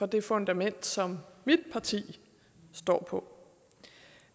det fundament som mit parti står på